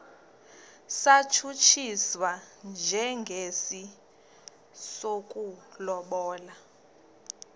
satshutshiswa njengesi sokulobola